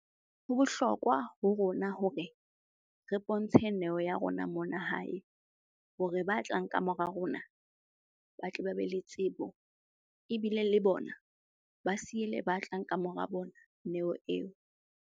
Ho bohlokwa ho rona hore re bontshe neo ya rona mona hae hore ba tlang ka mora rona, ba tle ba be le tsebo. Ebile le bona ba siele ba tlang ka mora bona neo eo.